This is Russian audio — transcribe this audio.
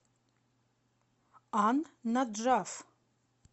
ан наджаф